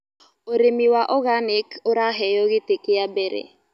Ũrĩmĩ wa organĩc ũraheo gĩtĩ kĩa mbere